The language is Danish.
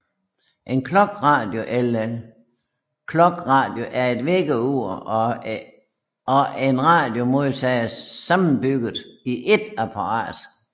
En clockradio eller klokradio er et vækkeur og en radiomodtager sammenbygget i et apparat